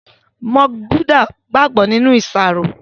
Mọ́ńkì Búdà gbàgbó nínú iṣaro